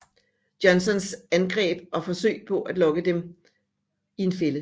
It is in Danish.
Johnstons angreb og forsøge på at lokke dem i en fælde